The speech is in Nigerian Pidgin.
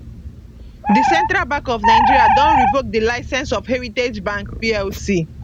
di central bank of nigeria don revoke di licence of heritage bank plc